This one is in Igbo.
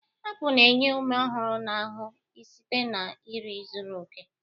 Apụl na-enye ume ọhụrụ na ahụ site na nri zuru oke.